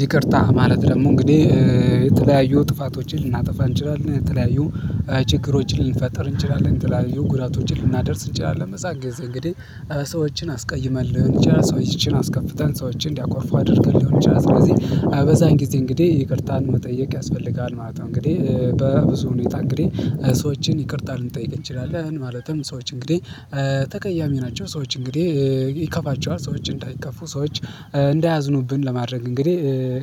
ይቅርታ ማለት ደግሞ እንግዲህ የተለያዩ ጥፋቶችን ልናጠፋ እንችላለን የተለያዩ ችግሮችን ልንፈጥር እንችላለን ትላልዩ ጉዳቶችን ልናደርስ እንጨራለን። መጻገዝ እንግዲህ ሰዎችን አስቀይመን እንጨራ ሰው ይቺን አስከፍተን ሰዎችን እንዲያኮርፉ አድርገልኝ እንጨራ። ስለዚህ አበዛን ጊዜ እንግዲህ ይቅርታን መጠየቅ ያስፈልጋል ማለት ነው። እንግዲህ በብዙ ሁኔታ እንግዲህ ሰዎችን ይቅርታ ልንጠይቅ እንችላለን ማለትም ሰዎች እንግዲህ ተቀያሚ ናቸው። ሰዎች እንግዲህ ይከፋቸዋል ሰዎች እንዳይከፉ ሰዎች እንዳያዝኑብን ለማድረግ እንግዲህ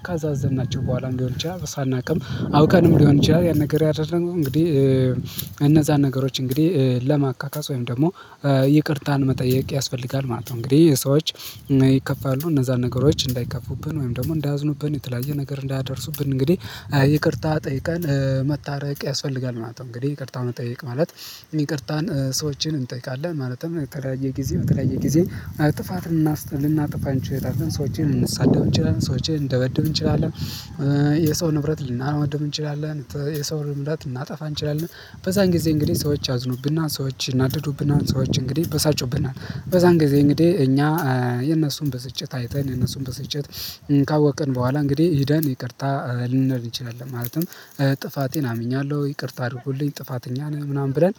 ካዛዘንናቸው በኋላ እንዲሆን ብቻ ሳናውቅም አውቃለሁ ሊሆን ይችላል። ያን ነገር ያደረገው እንግዲህ። ነገሮች እንግዲህ ለማካካስ ወይም ደግሞ ይቅርታን መጠየቅ ያስፈልጋል ማለት ነው። እንግዲህ የሰዎች ይከፋሉ እነዛን ነገሮች እንዳይከፉብን ወይም ደግሞ እንዳዝኑብን የተለያየ ነገር እንዳደርሱብን እንግዲህ ይቅርታ ጠይቃን መታረቅ ያስፈልጋል ማለት ነው። እንግዲህ ይቅርታውን እጠይቅ ማለት ይቅርታን ሰዎችን እንጠይቃለን ማለትም የተለያየ ጊዜ የተለያየ ጊዜ ጥፋትን ልናጥፋን ችሎታን ግን ሰዎችን እንሰዳው እንችላለን ሰዎችን እንደበድብ እንችላለን። የሰው ንብረት ልናወድብ እንችላለን። የሰው ንብረት እናጠፋ እንችላለን። በዛን ጊዜ እንግዲህ ሰዎች አዝኑብና ሰዎች ናደዱብና ሰዎች እንግዲህ በሳጩብናል በዛን ጊዜ እንግዲህ እኛ የነሱን በስጭት አይተን የነሱን በስጭት ካወቅን በኋላ እንግዲህ ሄደን ይቅርታ ልንነር እንችላለን። ማለትም ጥፋቴን አምኛለሁ ይቅርታ አድርጉልኝ ጥፋተኛ ነኝ ምናምን ብለን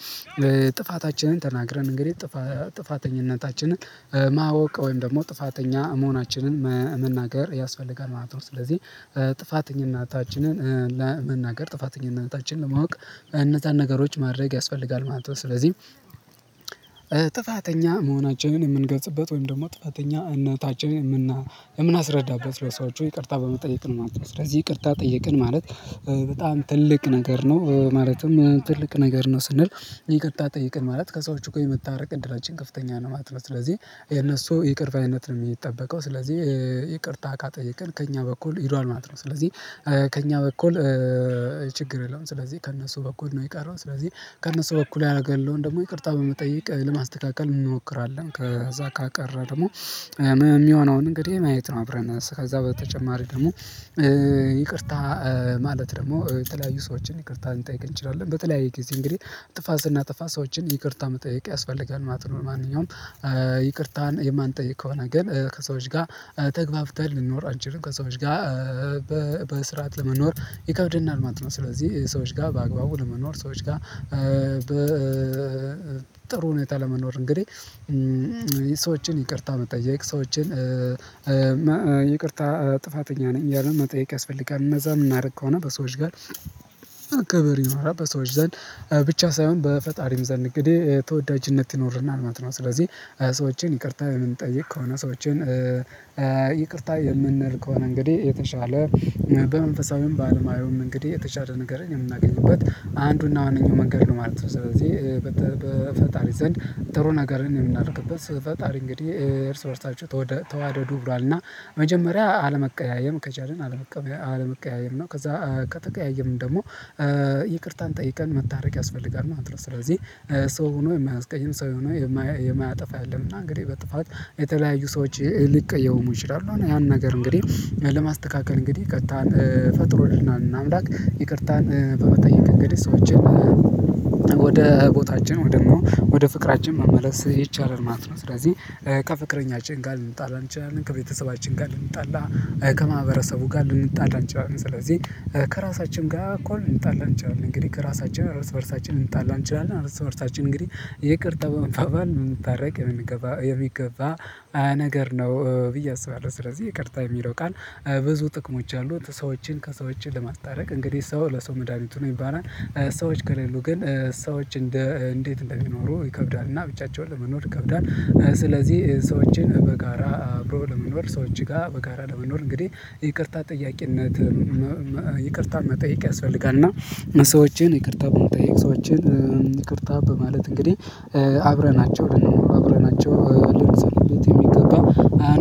ጥፋታችንን ተናግረን እንግዲህ ጥፋተኝነታችንን ማወቅ ወይም ደግሞ ጥፋተኛ መሆናችንን መናገር ያስፈልጋል ማለት ነው። ስለዚህ ጥፋተኛ እናታችንን ለመናገር ጥፋተኝ እናታችንን ለማወቅ እነዛን ነገሮች ማድረግ ያስፈልጋል ማለት ነው። ስለዚህ ጥፋተኛ መሆናቸውን የምንገጽበት ወይም ደግሞ ጥፋተኛ እና ታች የምናስረዳበት ለሰዎች ይቅርታ በመጠየቅ ማለት ነው። ስለዚህ ይቅርታ ጠይቅን ማለት በጣም ትልቅ ነገር ነው። ማለትም ትልቅ ነገር ነው ስንል ይቅርታ ጠይቅን ማለት ከሰዎች እኮ የምታርቅ እድላችን ከፍተኛ ነው። ማጥበር ስለዚህ የነሱ ይቅርታ አይነት ነው የሚጠበቀው። ስለዚህ ይቅርታ እቃ ጠይቀን ከእኛ በኩል ሂዷል ማለት ነው። ስለዚህ ከእኛ በኩል ችግር የለውም። ስለዚህ ከእነሱ በኩል ነው የቀረው። ስለዚህ ከእነሱ በኩል ያደረጋል ደግሞ ይቅርታ በመጠየቅ ለማስተካከል እንሞክራለን። ከዛ ካቀረ ደግሞ እንግዲህ ማየት ነው። አብረን ከዛ በተጨማሪ ደግሞ ማለት ደግሞ የተለያዩ ሰዎችን ይቅርታ ልንጠይቅ እንችላለን። በተለያየ ጊዜ እንግዲህ ጥፋት ስናጠፋ ሰዎችን ይቅርታ መጠየቅ ያስፈልጋል። ማጥኑን ማንኛውም ይቅርታን የማንጠይቅ ከሆነ ግን ከሰዎች ጋር ተግባብተን ልንኖር አንቺን ከሰዎች ጋር በስርዓት ለመኖር ይከብደናል። ማንት ነው ስለዚህ ሰዎች ጋር በአግባቡ ለመኖር ሰዎች ጋር ጥሩ ሁኔታ ለመኖር እንግዲህ ይቅርታ መጠየቅ የሰዎችን ይቅርታ ጥፋተኛ ነኝ ያለው መጠየቅ ያስፈልጋል። እነዛ የምናደርግ ከሆነ በሰዎች ጋር አካባቢ ይኖራል በሰዎች ዘንድ ብቻ ሳይሆን በፈጣሪም ዘንድ እንግዲህ ተወዳጅነት ይኖርና ማለት ነው። ስለዚህ ሰዎችን ይቅርታ የምንጠይቅ ከሆነ ሰዎችን ይቅርታ የምንል ከሆነ እንግዲህ የተሻለ መንፈሳዊም ባለማየሁም እንግዲህ የተሻለ ነገር የምናገኝበት አንዱና ዋነኛው መንገድ ነው ማለት ነው። ስለዚህ በፈጣሪ ዘንድ ጥሩ ነገርን የምናደርግበት ፈጣሪ እንግዲህ ኤርስፈርሳቸው ተዋደዱ ብሏልና መጀመሪያ አለመቀያየም ከቻልን አለመቀያየም ነው። ከዛ ከተቀያየምን ደግሞ ይቅርታን ጠይቀን መታረቅ ያስፈልጋል ማለት ነው። ስለዚህ ሰው ሆኖ የማያስቀኝም ሰው ሆኖ የማያጠፋ የለምና እንግዲህ በጥፋት የተለያዩ ሰዎች ሊቀየው ሊሆን ይችላል። ያን ነገር እንግዲህ ለማስተካከል እንግዲህ ፈጥሮህና አምላክ ይቅርታን በመጠየቅ እንግዲህ ሰዎችን ወደ ቦታችን ወደ ደግሞ ወደ ፍቅራችን መመለስ ይቻላል ማለት ነው። ስለዚህ ከፍቅረኛችን ጋር ልንጣላ እንችላለን። ከቤተሰባችን ጋር ልንጣላ ከማህበረሰቡ ጋር ልንጣላ አንጨዋለሁ። ስለዚህ ከራሳችን ጋር እኮ እንጣላ እንችላለን። እንግዲህ ከራሳችን አራት በራሳችን እንጣላ እንችላለን። አራት በራሳችን እንግዲህ ይቅርታ በመባባል የምታረግ የሚገባ የሚገባ ነገር ነው። ብዬ አስባለሁ ስለዚህ ይቅርታ የሚለው ቃል ብዙ ጥቅሞች አሉት። ሰዎችን ከሰዎች ለማስታረቅ እንግዲህ ሰው ለሰው መድሃኒቱን ይባላል። ሰዎች ከሌሉ ግን ሰዎች እንደ እንዴት እንደሚኖሩ ይከብዳል። እና ብቻቸውን ለመኖር ይከብዳል። ስለዚህ ሰዎችን በጋራ አብሮ ለመኖር ሰዎች ጋር በጋራ ለመኖር እንግዲህ ይቅርታ ጠያቂነት መጠየቅ ያስፈልጋል። እና ሰዎችን ይቅርታ በመጠየቅ ሰዎችን ይቅርታ በማለት እንግዲህ አብረናቸው አብረናቸው ልንሰልበት የሚገባው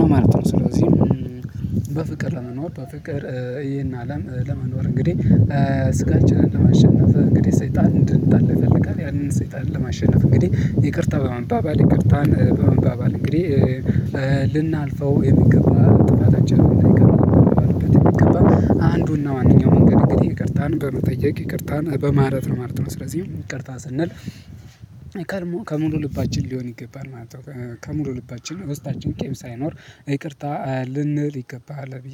ነው ማለት ነው። ስለዚህ በፍቅር ለመኖር በፍቅር ይሄን አለም ለመኖር እንግዲህ ስጋችንን ለማሸነፍ እንግዲህ ሰይጣን እንድንጣል ይፈልጋል። ያንን ሰይጣን ለማሸነፍ እንግዲህ ይቅርታ በመንባባል ይቅርታን በመንባባል እንግዲህ ልናልፈው የሚገባ ጥቃታችን ላይ አይገባም። አንዱና ዋናው መንገድ እንግዲህ ይቅርታን በመጠየቅ ይቅርታን በማለት ነው ማለት ነው። ስለዚህ ይቅርታ ስንል ከሙሉ ልባችን ሊሆን ይገባል ማለት ነው። ከሙሉ ልባችን ውስጣችን ኬም ሳይኖር ይቅርታ ልንል ይገባሃል ብዬ